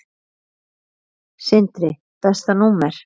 Sindri Besta númer?